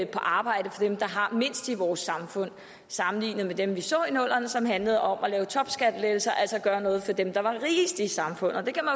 på arbejde for dem der har mindst i vores samfund sammenligner med dem vi så i nullerne som handlede om at lave topskattelettelser altså gøre noget for dem der var rigest i samfundet man kan